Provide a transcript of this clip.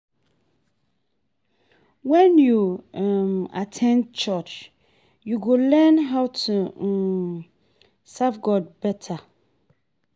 Wen yu um at ten d church, yu go learn how to um serve God beta.